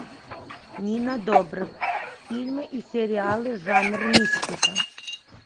нина добрев фильмы и сериалы жанр мистика